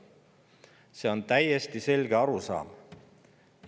See on täiesti selge arusaam.